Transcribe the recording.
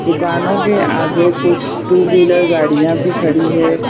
दुकानों के आगे कुछ टू व्हीलर गाड़ियां भी खड़ी है।